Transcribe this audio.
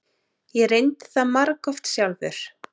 Ég reyndi það margoft sjálfur.